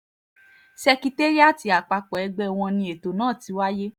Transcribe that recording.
ṣèkẹtéríátì àpapọ̀ ẹgbẹ́ wọn ni ètò náà ti wáyé